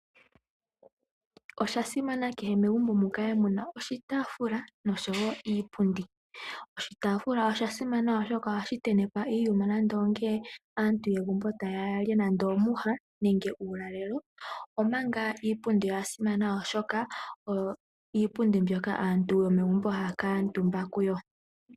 Oshasimana kehe megumbo mukale muna oshitaafula noshowoo iipundi. Oshiitafula ohashi tentekwa iikwatelwa yiikulya ngele aantu taa li ngaashi omatiti. Omanga iipundi oyasimana oshoka ohaku kuutumbiwa kaantu.